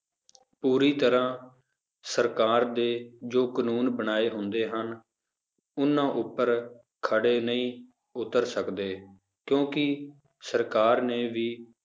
ਪੂਰੀ ਤਰ੍ਹਾਂ ਸਰਕਾਰ ਦੇ ਜੋ ਕਾਨੂੰਨ ਬਣਾਏ ਹੁੰਦੇ ਹਨ, ਉਹਨਾਂ ਉੱਪਰ ਖਰੇ ਨਹੀਂ ਉੱਤਰ ਸਕਦੇ ਕਿਉਂਕਿ ਸਰਕਾਰ ਨੇ ਵੀ